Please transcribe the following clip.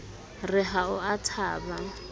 re ha o a thaba